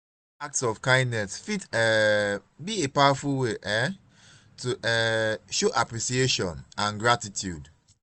small acts of kindness fit um be a powerful way um to um show appreciation and gratitude.